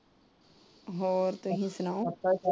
ਹੋਰ ਤੁਸੀਂ ਸੁਣਾਓ।